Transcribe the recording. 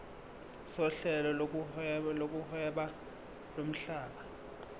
sohlelo lokuhweba lomhlaba